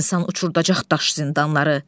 İnsan uçurdacaq daş zindanları.